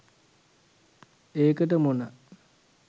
ඒකට මොන